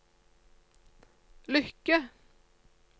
lykke